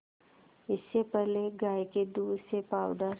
इससे पहले गाय के दूध से पावडर